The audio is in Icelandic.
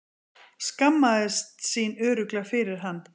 Skammaðist sín örugglega fyrir hann.